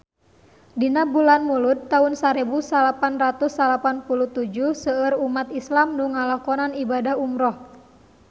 Dina bulan Mulud taun sarebu salapan ratus salapan puluh tujuh seueur umat islam nu ngalakonan ibadah umrah